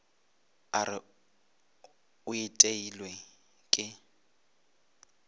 a re o iteilwe ke